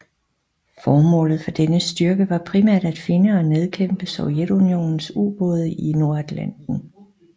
Formålet for denne styrke var primært at finde og nedkæmpe Sovjetunionens ubåde i Nordatlanten